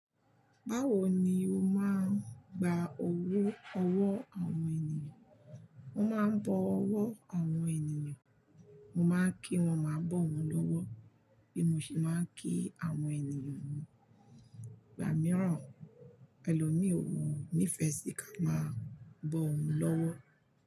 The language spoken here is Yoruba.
Báwo ni o máa ń gba owó ọwọ́ àwọn ènìyàn? Mo máa ń bọ ọwọ́ àwọn ènìyàn, mo máa ń kí wọ́n máa bọ̀ wọ́n lọ́wọ́, bí mo ṣe máa ń kí àwọn ènìyàn mi. Ìgbà mìíràn, ẹlòmíòwò nífẹ̀ẹ́ sì ká máa bọ òun lọ́wọ́